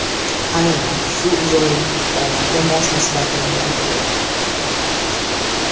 Aynan shu uzunlik qomatga mos nisbatni yaratadi.